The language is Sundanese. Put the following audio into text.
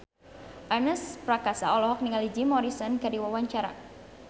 Ernest Prakasa olohok ningali Jim Morrison keur diwawancara